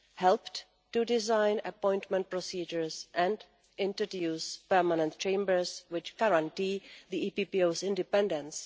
helped to design appointment procedures and introduce permanent chambers which guarantee the EPPO's independence